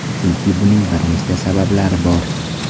Chunki buning bir nechta sabablari bor.